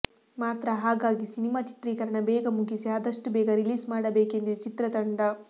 ಮಾತ್ರ ಹಾಗಾಗಿ ಸಿನಿಮಾ ಚಿತ್ರೀಕರಣ ಬೇಗ ಮುಗಿಸಿ ಆದಷ್ಟು ಬೇಗ ರಿಲೀಸ್ ಮಾಡಬೇಕೆಂದಿದೆ ಚಿತ್ರತಂಡ